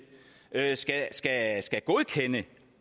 skal skal godkende